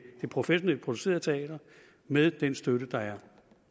professionelt producerede teater med den støtte der er